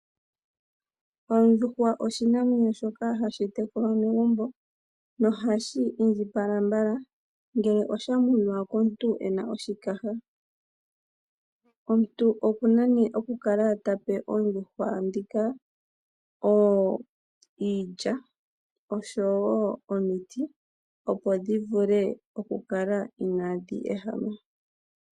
Ondjuhwa oshinamwenyo shoka hashi tekulwa megumbo nohashi indjipala mbala ngele osha munwa komuntu ena oshikaha. Omuntu oku na nee okukala ta pe oondjuhwa ndhika iilya osho wo omiti, opo dhi vule okukala inaadhi ehama.